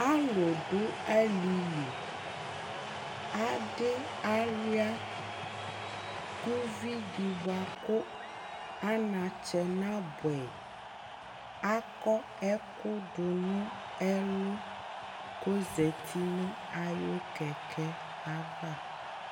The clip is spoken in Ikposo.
alò do alili adi aluia kò uvi di boa kò anatsɛ naboɛ yi akɔ ɛkò do n'ɛlu k'ozati no ayi kɛkɛ ava